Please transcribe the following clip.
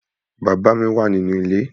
Bàbá mi wà nì inú ilé